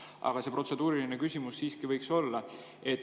Aga protseduuriline küsimus see siiski võiks olla.